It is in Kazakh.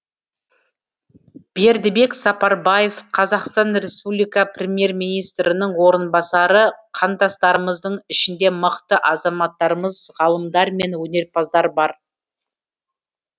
бердібек сапарбаев қазақстан республика премьер министрінің орынбасары қандастарымыздың ішінде мықты азаматтарымыз ғалымдар мен өнерпаздар бар